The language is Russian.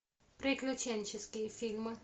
приключенческие фильмы